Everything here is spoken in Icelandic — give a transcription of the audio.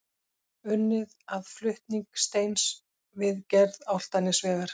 Unnið að flutning steins við gerð Álftanesvegar.